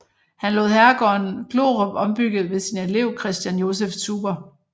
Han lod herregården Glorup ombygge ved sin elev Christian Joseph Zuber